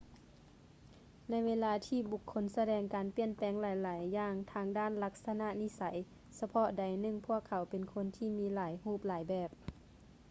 ໃນເວລາທີ່ບຸກຄົນສະແດງການປ່ຽນແປງຫຼາຍໆຢ່າງທາງດ້ານລັກສະນະນິໄສ ສະເພາະໃດໜຶ່ງ ພວກເຂົາເປັນຄົນທີ່ມີຫຼາຍຮູບຫຼາຍແບບ